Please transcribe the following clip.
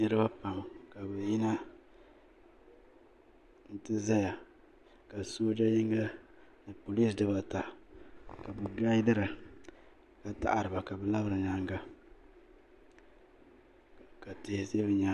niriba pam ka bɛ yina n-ti zaya ka sooja yinga ni polinsi dibaa ata ka bɛ gaadira ka taɣiri ba ka bɛ labiri nyaaga ka tihi za bɛ nyaaga.